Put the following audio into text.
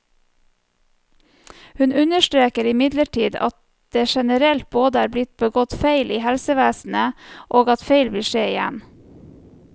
Hun understreker imidlertid at det generelt både er blitt begått feil i helsevesenet, og at feil vil skje igjen.